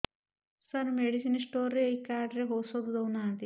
ସାର medicine store ରେ ଏଇ card ରେ ଔଷଧ ଦଉନାହାନ୍ତି